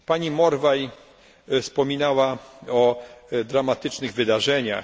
Pani Morvai wspominała o dramatycznych wydarzeniach.